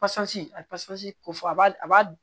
Pɔsɔn a bɛ pɔsɔni ko fɔ a b'a